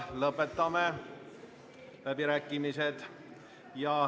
Lõpetame läbirääkimised.